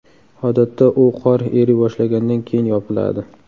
Odatda u qor eriy boshlagandan keyin yopiladi.